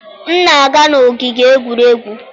M na-aga n'ogige egwuregwu